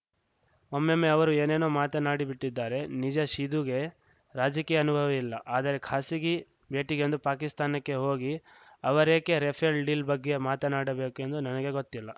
ಒಮ್ಮೊಮ್ಮೆ ಅವರು ಏನೇನೋ ಮಾತನಾಡಿಬಿಟ್ಟಿದ್ದಾರೆ ನಿಜ ಸಿಧುಗೆ ರಾಜಕೀಯ ಅನುಭವವಿಲ್ಲ ಆದರೆ ಖಾಸಗಿ ಭೇಟಿಗೆಂದು ಪಾಕಿಸ್ತಾನಕ್ಕೆ ಹೋಗಿ ಅವರೇಕೆ ರಫೇಲ್‌ ಡೀಲ್‌ ಬಗ್ಗೆ ಮಾತನಾಡಬೇಕೆಂದು ನನಗೆ ಗೊತ್ತಿಲ್ಲ